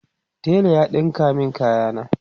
tela ya ɗinka min kaya na